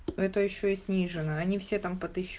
это ещё и снижена они все там